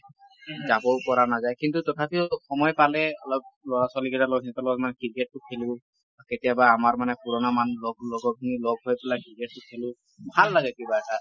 যাবও পৰা নাযায় কিন্তু তথাপিও সময় পালে অলপ লৰা ছোৱালী কেইটাৰ লগত সিহঁতৰ লগত মানে ক্ৰিকেট টো খেলো। কেতিয়াবা আমাৰ মানে পুৰণা মানুহ লগ লগৰ খিনি লগ হৈ পেলাই ক্ৰিকেট খেলো । ভাল লাগে কিবা এটা ।